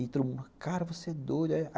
E todo mundo, cara, você é doido.